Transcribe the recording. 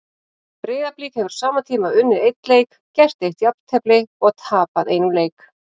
Breiðablik hefur á sama tíma unnið einn leik, gert eitt jafntefli og tapað einum leik.